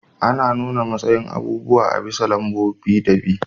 Ana nuna matsayin abubuwa a bisa lambobin bi da bi.